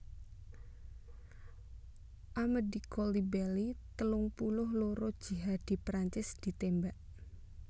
Amedy Coulibaly telung puluh loro jihadi Prancis ditémbak